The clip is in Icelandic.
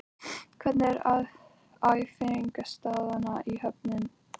Hvernig er æfingaaðstaðan á Höfn?